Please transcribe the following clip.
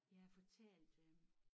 Jeg har fortalt øh